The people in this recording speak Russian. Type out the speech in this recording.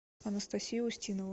анастасию устинову